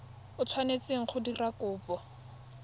o tshwanetseng go dira kopo